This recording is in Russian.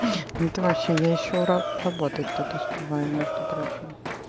ну ты вообще я ещё работать тут успеваю между прочим